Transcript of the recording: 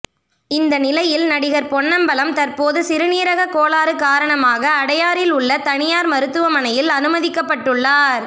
இந்த நிலையில் நடிகர் பொன்னம்பலம் தற்போது சிறுநீரக கோளாறு காரணமாக அடையாரில் உள்ள தனியார் மருத்துவமனையில் அனுமதிக்கப்பட்டுள்ளார்